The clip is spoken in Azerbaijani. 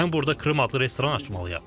Mən burda Krım adlı restoran açmalıyam.